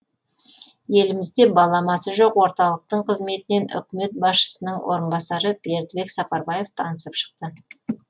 елімізде баламасы жоқ орталықтың қызметімен үкімет басшысының орынбасары бердібек сапарбаев танысып шықты